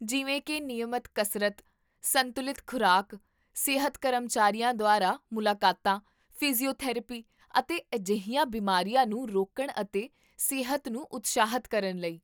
ਜਿਵੇਂ ਕੀ ਨਿਯਮਤ ਕਸਰਤ, ਸੰਤੁਲਿਤ ਖੁਰਾਕ, ਸਿਹਤ ਕਰਮਚਾਰੀਆਂ ਦੁਆਰਾ ਮੁਲਾਕਾਤਾਂ, ਫਿਜ਼ੀਓਥੈਰੇਪੀ, ਅਤੇ ਅਜਿਹੀਆਂ ਬਿਮਾਰੀਆਂ ਨੂੰ ਰੋਕਣ ਅਤੇ ਸਿਹਤ ਨੂੰ ਉਤਸ਼ਾਹਿਤ ਕਰਨ ਲਈ